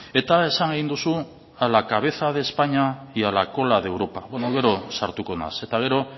eta esan egin duzu a la cabeza de españa y a la cola de europa gero sartuko naiz eta gero